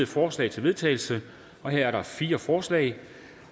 forslag til vedtagelse her er der fire forslag